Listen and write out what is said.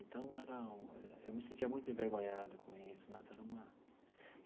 Então era um, eu me sentia muito envergonhado com isso nossa era uma.